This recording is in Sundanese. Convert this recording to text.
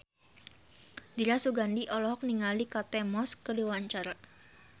Dira Sugandi olohok ningali Kate Moss keur diwawancara